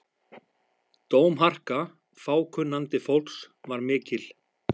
Dómharka fákunnandi fólks var mikil.